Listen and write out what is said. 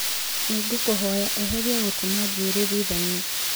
nĩ ngũkũhoya eheria gũtema njuĩrĩ thutha-inĩ